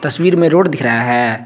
तस्वीर में रोड दिख रहा है।